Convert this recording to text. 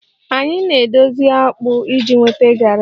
Anyị na-edozi akpu iji nweta garri